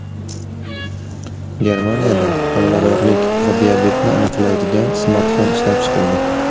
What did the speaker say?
Germaniyada homiladorlik va diabetni aniqlaydigan smartfon ishlab chiqildi.